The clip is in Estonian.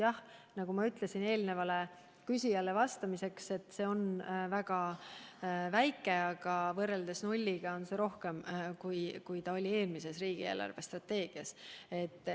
Jah, nagu ma eelmisele küsijale vastates ütlesin, on see väga väike, aga võrreldes nulliga, nagu oli eelmises riigi eelarvestrateegias, on see suurem.